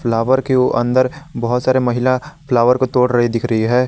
Flower के उ अंदर बहुत सारे महिला फ्लावर को तोड़ रही दिख रही है ।